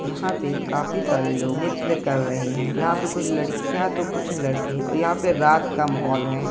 यहाँ पे काफी सारे लोग नृत्य कर रहे हैं यहाँ पर कुछ लड़कियाँ तो कुछ लड़के यहाँ पे रात का माहौल है।